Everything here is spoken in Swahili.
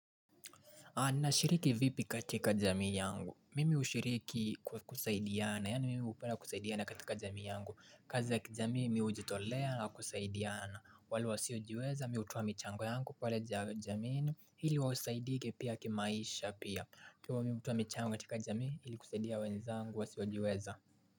Anashiriki vipi katika jamii yangu. Mimi ushiriki kwa kusaidiane. Yani mimi upenda kusaidiana katika jamii yangu. Kazi za kijamii mi ujitolea na kusaidiana. Wale wasiojiweza mi hutoa michango yangu pale ja jamiini. Ili wasaidike pia kimaisha pia. Ikiwa mi hutoa michango katika jamii. Hili kusaidia wenzangu wasiojiweza.